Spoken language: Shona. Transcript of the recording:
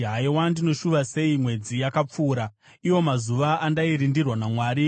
“Haiwa ndinoshuva sei mwedzi yakapfuura, iwo mazuva andairindirwa naMwari,